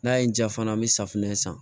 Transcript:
N'a ye n ja fana n bɛ safinɛ san